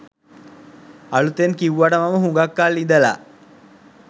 අලුතෙන් කිව්වට මම හුඟාක් කල් ඉඳලා